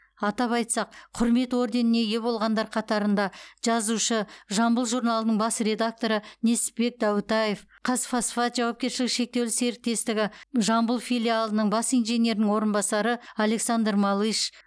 атап айтсақ құрмет орденіне ие болғандар қатарында жазушы жамбыл журналының бас редакторы несіпбек дәутаев қазфосфат жауапкершілігі шектеулі серіктестігі жамбыл филиалының бас инженерінің орынбасары александр малыш